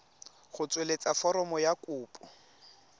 go tsweletsa foromo ya kopo